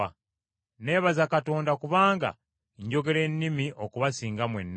Neebaza Katonda kubanga njogera ennimi okubasinga mwenna.